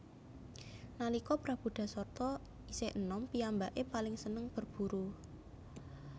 Nalika Prabu Dasarta isih enom piyambake paling seneng berburu